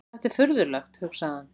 Þetta er furðulegt, hugsaði hann.